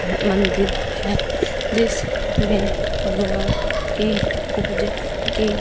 मंदिर है जिस में भगवान की पूजा की --